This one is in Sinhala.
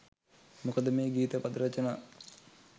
මොකද මේ ගීත පද රචනා